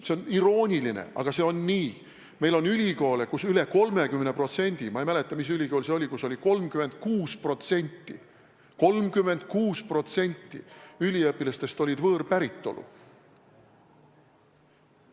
See on iroonia, aga see on nii: meil on ülikoole, kus üle 30% – ma ei mäleta, mis ülikool see on, kus on 36% – üliõpilastest on võõrpäritolu.